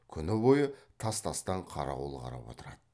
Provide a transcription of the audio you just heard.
күні бойы тас тастан қарауыл қарап отырады